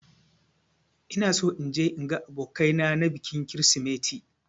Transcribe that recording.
Ina so in je in ga abokai na na bikin krisimeti